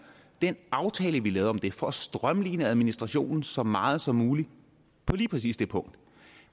den aftale vi lavede om det for at strømline administrationen så meget som muligt på lige præcis det punkt